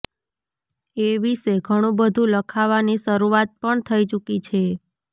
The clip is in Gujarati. એ વિશે ઘણુબધુ લખાવાની શરૂઆત પણ થઈ ચૂકી છે